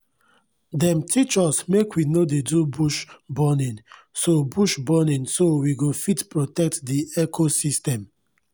dem teach us make we no dey do bush burning so bush burning so we go fit protect di ecosystem.